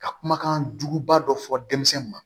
Ka kumakan juguba dɔ fɔ denmisɛnninw ma